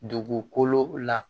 Dugukolo la